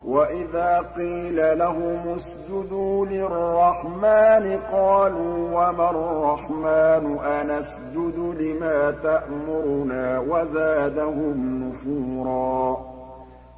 وَإِذَا قِيلَ لَهُمُ اسْجُدُوا لِلرَّحْمَٰنِ قَالُوا وَمَا الرَّحْمَٰنُ أَنَسْجُدُ لِمَا تَأْمُرُنَا وَزَادَهُمْ نُفُورًا ۩